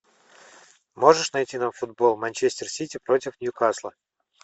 можешь найти нам футбол манчестер сити против ньюкасла